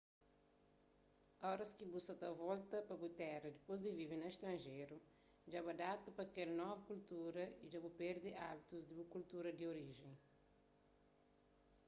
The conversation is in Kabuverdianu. oras ki bu sa ta volta pa bu téra dipôs di vive na stranjeru dja bu adapta a kel novu kultura y dja bu perde ábitus di bu kultura di orijen